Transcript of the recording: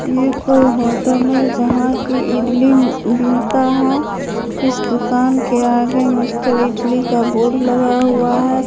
ये कोई होटल है जहां की इडली मिलता है इस दुकान के आगे मिस्टर इटली का बोर्ड लगा हुआ है।